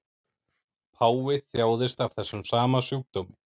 Páfi þjáðist af þessum sama sjúkdómi